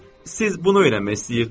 Siz bunu öyrənmək istəyirdiz?